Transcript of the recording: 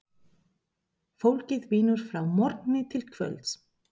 Fólkið vinnur frá morgni til kvölds.